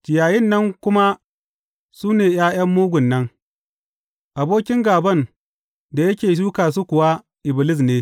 Ciyayin nan kuma su ne ’ya’yan mugun nan, abokin gāban da yake shuka su kuwa, Iblis ne.